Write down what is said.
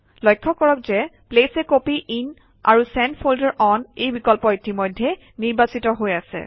লক্ষ্য কৰক যে প্লেচ a কপি ইন আৰু চেণ্ট ফল্ডাৰ অন এই বিকল্প ইতিমধ্যেই নিৰ্বাচিত হৈ আছে